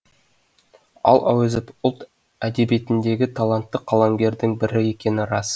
ал әуезов ұлт әдебиетіндегі талантты қаламгердің бірі екені рас